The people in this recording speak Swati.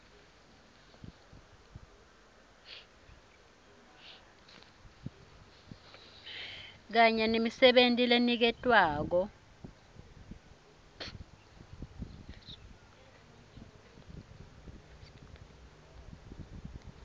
kanye nemisebenti leniketwako